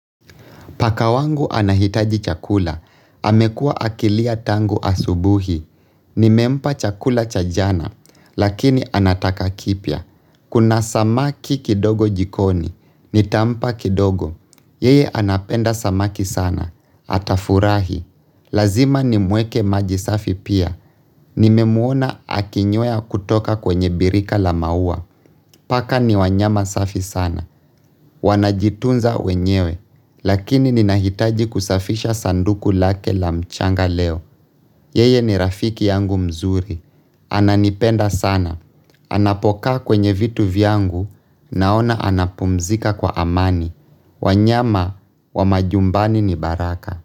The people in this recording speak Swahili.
Paka wangu anahitaji chakula, amekuwa akilia tangu asubuhi. Nimempa chakula cha jana, lakini anataka kipya. Kuna samaki kidogo jikoni, nitampa kidogo. Yeye anapenda samaki sana, atafurahi. Lazima nimweke maji safi pia. Nimemuona akinywea kutoka kwenye birika la maua. Paka ni wanyama safi sana. Wanajitunza wenyewe, lakini ninahitaji kusafisha sanduku lake la mchanga leo. Yeye ni rafiki yangu mzuri, ananipenda sana. Anapokaa kwenye vitu vyangu, naona anapumzika kwa amani. Wanyama wa majumbani ni baraka.